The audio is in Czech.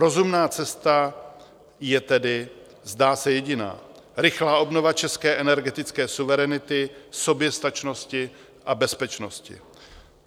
Rozumná cesta je tedy, zdá se, jediná: rychlá obnova české energetické suverenity, soběstačnosti a bezpečnosti.